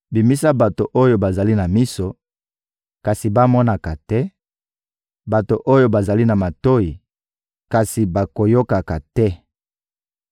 Bimisa bato oyo bazali na miso, kasi bamonaka te; bato oyo bazali na matoyi, kasi bayokaka te.